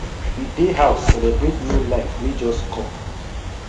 we dey house celebrate new life wey just com